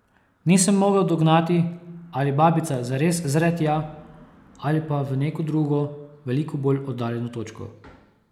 Nisem mogel dognati, ali babica zares zre tja, ali pa v neko drugo, veliko bolj oddaljeno točko.